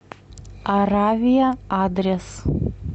аравия адрес